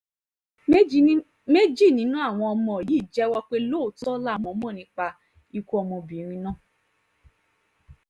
méjì nínú àwọn ọmọ yìí jẹ́wọ́ pé lóòótọ́ làwọn mọ̀ nípa ikú ọmọbìnrin náà